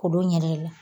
K'olu ɲɛ